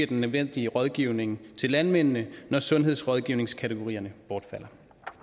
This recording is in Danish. den nødvendige rådgivning til landmændene når sundhedsrådgivningskategorierne bortfalder